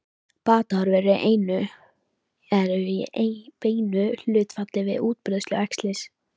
Batahorfur eru í beinu hlutfalli við útbreiðslu æxlisins.